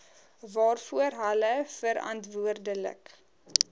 waarvoor hulle verantwoordelik